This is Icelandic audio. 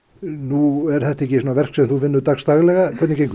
nú eru þetta verk sem þú vinnur ekki dags daglega hvernig gengur